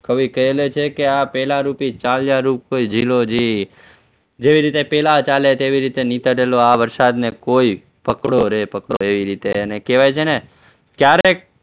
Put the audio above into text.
કવિ કહે છે કે આ પહેલા ઋતુ ચાલ્યા રૂપ કોઈ ઝીલો જી જેવી રીતે પહેલા ચાલ્યા તેવી રીતે નીકળેલો આ વરસાદને કોઈ પકડો રે પકડો એવી રીતે કહેવાય છે ને ક્યારેક